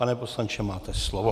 Pane poslanče, máte slovo.